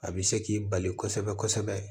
A bɛ se k'i bali kosɛbɛ kosɛbɛ